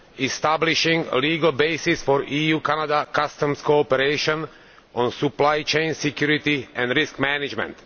establishing a legal basis for EU Canada customs cooperation on supply chain security and risk management.